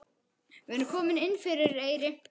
Við erum komin inn fyrir Eyri.